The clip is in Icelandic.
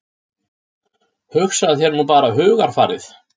Hugsaðu þér nú bara hugarfarið.